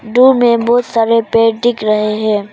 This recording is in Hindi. दूर में बहुत सारे पेड़ दिख रहे हैं।